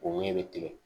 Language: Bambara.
O woɲɛ bɛ tigɛ